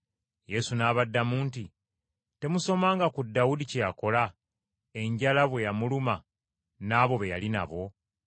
Yesu n’abaddamu nti, “Temusomanga ku Dawudi kye yakola, enjala bwe yamuluma n’abo be yali nabo?